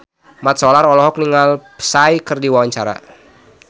Mat Solar olohok ningali Psy keur diwawancara